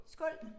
Skål